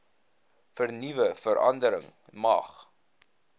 vernuwe verandering mag